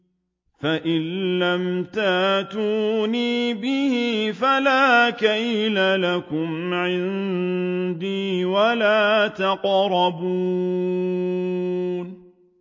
فَإِن لَّمْ تَأْتُونِي بِهِ فَلَا كَيْلَ لَكُمْ عِندِي وَلَا تَقْرَبُونِ